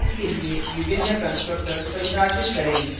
class के लिए विभिन्न constructors परिभाषित करें